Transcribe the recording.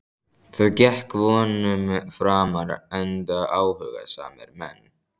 Það gekk vonum framar enda áhugasamir menn.